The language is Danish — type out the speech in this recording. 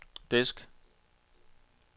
disk